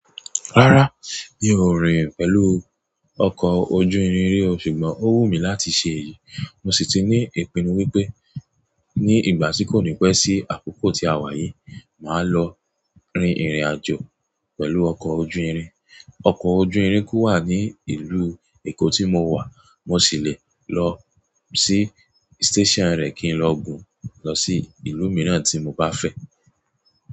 Rárá mi ò rin pẹ̀lú ọkọ̀ ojú irin rí o ṣùgbọ́n ó wù mí láti ṣe èyí. Mo sì ti ní ìpinnu wípé ní ìgbà tí kò ní pẹ́ sí àkókò tí a wà yìí, màá lọ rin ìrìnàjò pẹ̀lú ọkọ̀ ojú irin. Ọkọ̀ ojú irin ku wà ní ìlú Èkó tí mo wà. Mo sì le lọ sí station rẹ̀ kí n lọ gùn lọ sí ìlú mìíràn tí mo bá fẹ́.